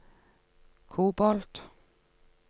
kobolt